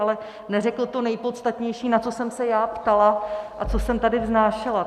Ale neřekl to nejpodstatnější, na co jsem se já ptala a co jsem tady vznášela.